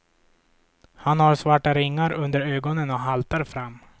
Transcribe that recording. Han har svarta ringar under ögonen och haltar fram.